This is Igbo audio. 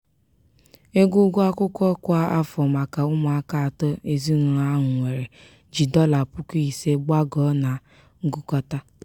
ego ụgwọ akwụkwọ kwa afọ maka ụmụaka atọ ezinaụlọ ahụ nwere ji dọla puku ise gbagoo na ngụkọta.